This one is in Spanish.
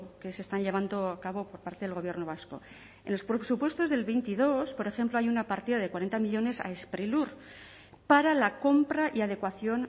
que se están llevando a cabo por parte del gobierno vasco en los presupuestos del veintidós por ejemplo hay una partida de cuarenta millónes a sprilur para la compra y adecuación